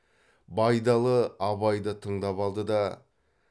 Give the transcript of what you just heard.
байдалы абайды тыңдап алды да